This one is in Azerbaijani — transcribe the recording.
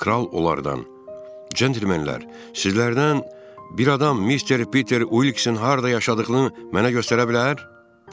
Kral onlardan: Cəntlmenlər, sizlərdən bir adam mister Peter Uilkinson harada yaşadığını mənə göstərə bilər?